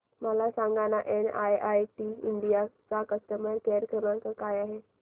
मला सांगाना NIIT India चा कस्टमर केअर क्रमांक काय आहे